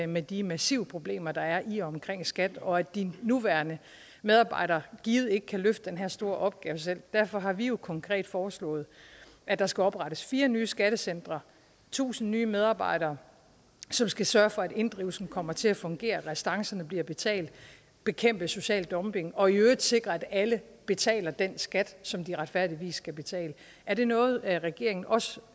med de massive problemer der er i og omkring skat og at de nuværende medarbejdere givet ikke kan løfte den her store opgave selv derfor har vi konkret foreslået at der skal oprettes fire nye skattecentre tusind nye medarbejdere som skal sørge for at inddrivelsen kommer til at fungere at restancerne bliver betalt bekæmpe social dumping og i øvrigt sikre at alle betaler den skat som de retfærdigvis skal betale er det noget regeringen også